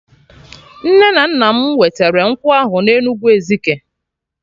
Nne na nna m wetere nkwụ ahụ na Enugwu Ezike